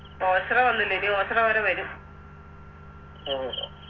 ഓച്ചിറ വന്നില്ല ഇനി ഓച്ചിറവരെ വരും